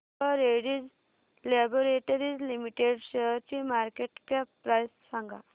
डॉ Reddy's laboratories limited शेअरची market cap price सांगा